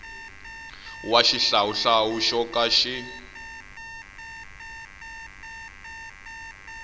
wa xihlawuhlawu xo ka xi